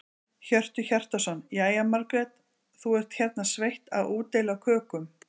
Hjörtur Hjartarson: Jæja, Margrét, þú ert hérna sveitt að útdeila kökum?